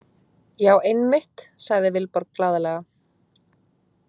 Já, einmitt, sagði Vilborg glaðlega.